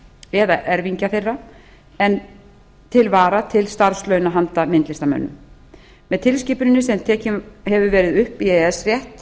eða erfingja þeirra en til vara til starfslauna handa myndlistamönnum með tilskipuninni sem tekin hefur verið upp í e e s rétt